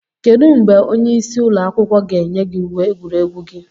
Kedu mgbe onye isi ụlọ akwụkwọ ga-enye gị uwe egwuregwu gị?